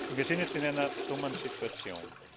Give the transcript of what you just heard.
Wir sind jetzt in einer dummen Situation.